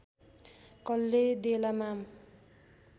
कल्ले देला माम